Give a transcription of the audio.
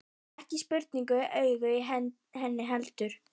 Og ekki sprungu augun í henni heldur.